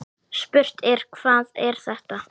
Spurt er: Hvað er þetta?